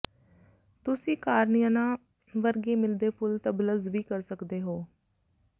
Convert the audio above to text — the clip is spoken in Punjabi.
ਤੁਸੀਂ ਕਾਰਨੀਅਨਾਂ ਵਰਗੇ ਮਿਲਦੇ ਫੁੱਲ ਡਬਲਜ਼ ਵੀ ਕਰ ਸਕਦੇ ਹੋ